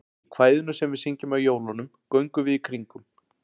Í kvæðinu sem við syngjum á jólunum, Göngum við í kringum.